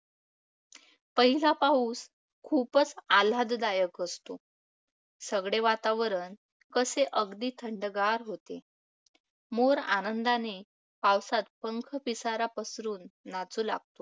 पहिला पाऊस खूप आल्हाददायक असतो. सगळे वातावरण कसे अगदी थंडगार होते. मोर आनंदाने पावसात पंख पिसारा पसरून नाचू लागतात.